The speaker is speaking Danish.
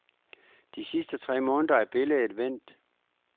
De sidste tre måneder er billedet vendt.